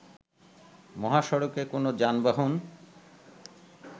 মহাসড়কে কোন যানবাহন